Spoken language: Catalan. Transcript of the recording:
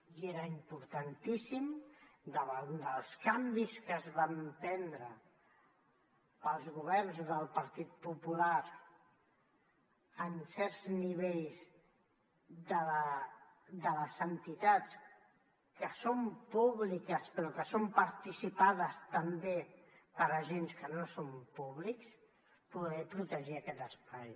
i era importantíssim davant dels canvis que van prendre els governs del partit popular en certs nivells de les entitats que són públiques però que són participades també per agents que no són públics poder protegir aquest espai